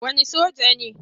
Wani soja ne.